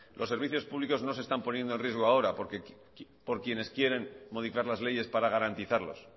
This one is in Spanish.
no se están poniendo en riesgo ahora por quienes quieren modificar las leyes para garantizarlos